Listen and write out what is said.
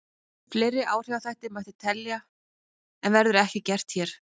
Fleiri áhrifaþætti mætti telja en verður ekki gert hér.